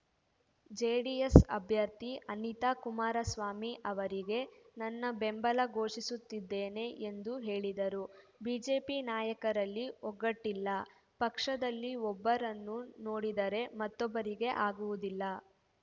JDS ಅಭ್ಯರ್ಥಿ ಅನಿತಾ ಕುಮಾರಸ್ವಾಮಿ ಅವರಿಗೆ ನನ್ನ ಬೆಂಬಲ ಘೋಷಿಸುತ್ತಿದ್ದೇನೆ ಎಂದು ಹೇಳಿದರು ಬಿಜೆಪಿ ನಾಯಕರಲ್ಲಿ ಒಗ್ಗಟ್ಟಿಲ್ಲ ಪಕ್ಷದಲ್ಲಿ ಒಬ್ಬರನ್ನು ನೋಡಿದರೆ ಮತ್ತೊಬ್ಬರಿಗೆ ಆಗುವುದಿಲ್ಲ